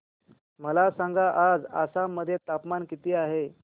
मला सांगा आज आसाम मध्ये तापमान किती आहे